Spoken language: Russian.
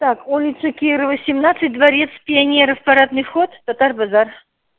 так улица кирова семнадцать дворец пионеров парадный вход татар-базар